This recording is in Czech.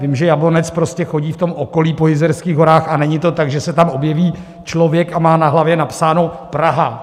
Vím, že Jablonec prostě chodí v tom okolí, po Jizerských horách, a není to tak, že se tam objeví člověk a má na hlavě napsáno "Praha".